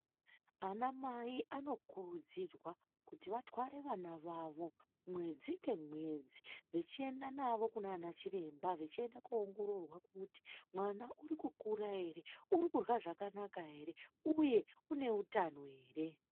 Ana mai vanokurudzirwa kuti vatware vana vavo mwedzi nemwedzi vachienda nawo kunana chiremba koongororwa kuti mwana arikukura ere uri kurya zvakanaka ere uye une hutano here.